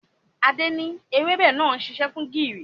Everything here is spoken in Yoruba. Adé ni èwebẹ̀ náà ń ṣiṣẹ́ fún gìrì.